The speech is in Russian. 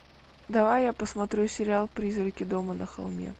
давай я посмотрю сериал призраки дома на холме